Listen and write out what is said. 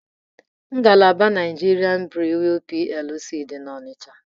Ngalaba Nigerian Breweries PLC dị n'Ọnịcha.